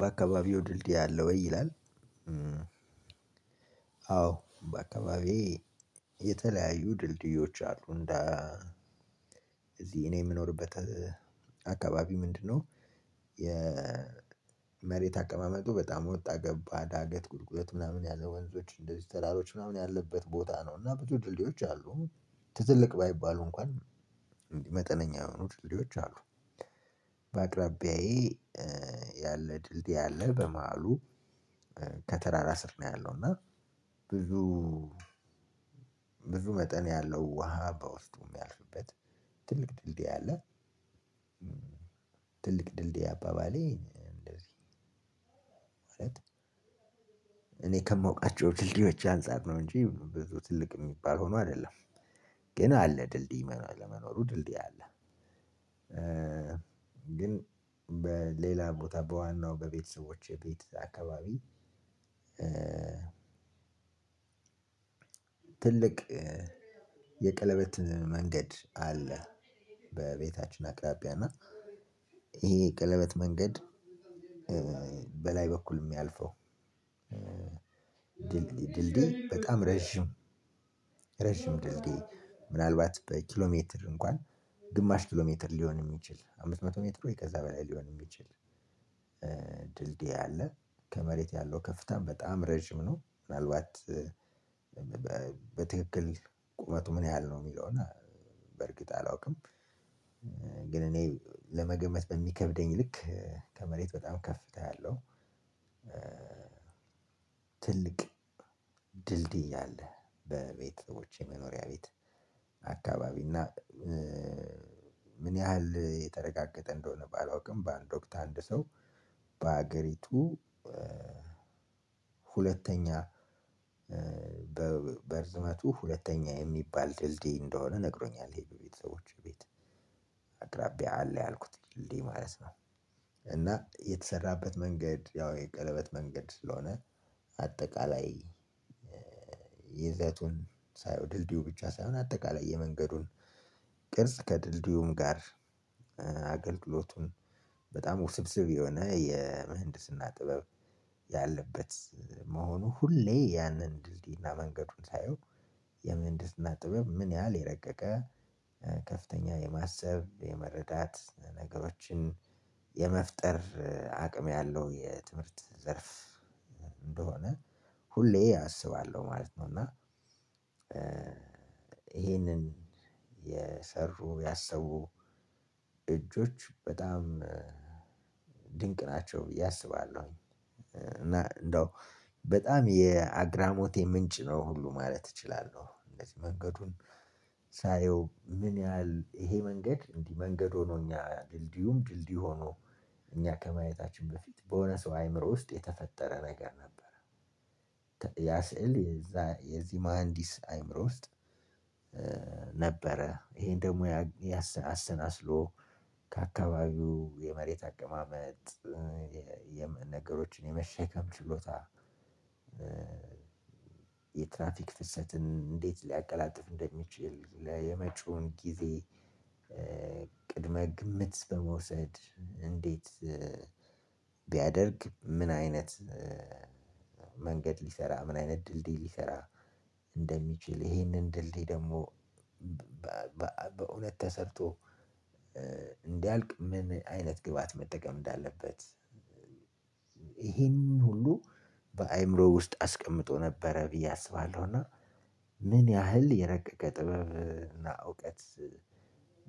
በአካባቢው ድልድይ አለ ወይ ይላል? አዎ በአካባቢዬ የተለያዩ ድልድዮች አሉ እንደ አዚህ እኔ አምኖርበት። አከባቢ ምንድን ነው? የመሬት አቀማመጡ በጣም ወጣ ገባ ዳገት ቁልቁለት ያለው ወንዞች ተራሮች ያለበት ቦታ ነው እና ብዙ ድልድዮች አሉ። ትልልቅ ባይባሉ እኩአን መጠነኛ ድ የሆኑ ልድዮች አሉ። በአቅራቢያዬ ያለ ድልድይ ያለ በመሀሉ ከተራራ ስር ነው ያለው። እና ብዙ ብዙ መጠን ያለው ውሃ በውስጡ የሚያልፍበት ትልቅ ድልድይ አለ። ትልቅ ድልድይ አባባሌ እንደዚህ ማለት እኔ ከምወቃቸው ድልድዮች አንፃር ነው እንጂ ብዙ ትልቅ የሚባል ሆኖ አይደለም። ግን አለ ድልድይ መኖር ለመኖሩ ድልድይ አለ። ግን በሌላ ቦታ በዋናው በቤተሰቦቼ ቤት አካባቢ። ትልቅ የቀለበት መንገድ አለ። በቤታችን አቅራቢያ እና ይሄ ቀለበት መንገድ በላይ በኩል የሚያልፈው ድልድይ በጣም ረጅም። ረጅም ድልድይ ምናልባት በኪሎ ሜትር እንኳን ግማሽ ኪሎ ሜትር ሊሆን የሚችል አምስት መቶ ሜትር ወይ ከዛ በላይ ሊሆን የሚችል ድልድይ አለ። ከመሬት ያለው ከፍታም በጣም አረጅም ነው። ምን አልባት በትክክል ቁመቱ ምን ያህል ነው? የሚለው እና በእርግጥ አላውቅም። ግን እኔ ለመገመት በሚከብደኝ ልክ ከመሬት በጣም ከፍታ ያለው ትልቅ ድልድይ አለ። በቤተሰቦቼ መኖሪያ ቤት አካባቢ እና ምን ያህል የተረጋገጠ እንደሆነ ባላውቅም በአንድ ወቅት አንድ ሰው በሀገሪቱ ሁለተኛ በርዝመቱ ሁለተኛ የሚባል ድልድይ እንደሆነ ነግሮኛል። ይሄ በቤተሰቦቼ ቤት አቅራቢያ አለ ያልኩት ድልድይ ማለት ነው። እና የተሰራበት መንገድ ያው የቀለበት መንገድ ስለሆነ። አጠቃላይ ይዘቱን ሳይው ድልድዩ ብቻ ሳይሆን አጠቃላይ የመንገዱን ቅርጽ ከድልድዩም ጋር አገልግሎቱን በጣም ውስብስብ የሆነ የምህንድስና ጥበብ። ያለበት መሆኑ ሁሌ ያንን ድልድይና መንገዱን ሳየው። የምህንድና ጥበብ ምን ያህል የረቀቀ። ከፍተኛ የማሰብ የመረዳት ነገሮችን የመፍጠር አቅም ያለው የትምህርት ዘርፍ እንደሆነ ሁሌ አስባለሁ ማለት ነው። እና ይሄንን የሰሩ ያሰቡ እጆች በጣም ድንቅ ናቸው ብዬ አስባለሁኝ። እና እንደው በጣም የአግራሞቴ ምንጭ ነው ሁሉ ማለት እችላለሁ። እንደዚህ መንገዱን ሳየው ምን ያህል ይሄ መንገድ እንዲህ መንገድ ሆኖ እኛ ድልድዩም ድልድዩ ሆኖ እኛ ከማየታችን በፊት በሆነ ሰው አይምሮ ውስጥ የተፈጠረ ነገር ነበረ። ያ ስዕል የዚህ መሃንዲስ አይምሮ ውስጥ ነበረ ይሄን ደግሞ አሰናስሎ ከአካባቢው የመሬት አቀማመጥ የነገሮችን የመሸከም ችሎታ። የትራፊክ ፍሰትን እንዴት ሊያቀላጥፍ እንደሚችል የመጪውን ጊዜ ቅድመ ግምት በመውሰድ እንዴት? ቢያደርግ ምን አይነት መንገድ ሊሰራ ምን አይነት ድልድይ ሊሰራ እንደሚችል ይሄን ድልድይ ደግሞ በሁለት ተሰርቶ እንዲያልቅ ምን አይነት ግባት መጠቀም እንዳለበት። ይህንን ሁሉ በአእምሮ ውስጥ አስቀምጦ ነበረ ብዬ አስባለሁ። እና ምን ያህል የረቀቀ ጥበብና እውቀት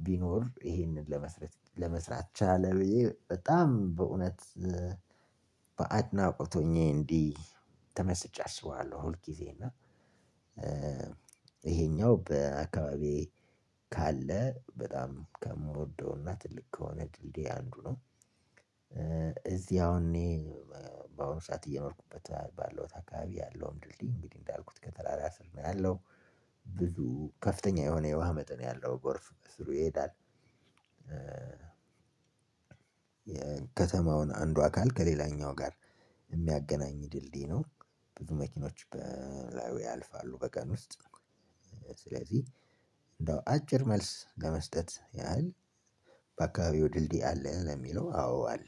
ቢኖር ይሄንን ለመስራት ለመስራት ቻለ። ብዬ በጣም በእውነት በአድናቆት ሆኜ እንዲህ ተመስጫ እስባለሁ። ሁል ጊዜ እና ይሄኛው በአካባቢዬ ካለ በጣም ከምወደው አና ትልቅ ከሆነ ድልድይ አንዱ ነው። እዚህ አሁን እኔ በአሁኑ ሰዓት እየኖርኩበት ባለው አካባቢ ያለውም ድልድይ እንግዲህ እንዳልኩት ከተራራ ስር ነው ያለው። ብዙ ከፍተኛ የሆነ የውሃ መጠን ያለው ጎርፍ ከስሩ ይሄዳል። የከተማውን አንዱ አካል ከሌላኛው ጋር የሚያገናኝ ድልድይ ነው። ብዙ መኪኖች በላይ ያልፋሉ በቀን ውስጥ። ስለዚህ እንደው አጭር መልስ ለመስጠት ያህል በአካባቢው ድልድይ አለ ለሚለው አዎ አለ